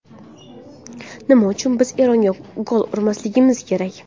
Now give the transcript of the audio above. Nima uchun biz Eronga gol urmasligimiz kerak?